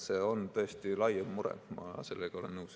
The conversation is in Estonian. See on tõesti laiem mure, ma sellega olen nõus.